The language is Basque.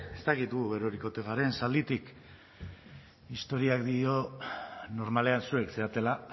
ez dakit gu eroriko garen zalditik historiak dio normalean zuek zaretela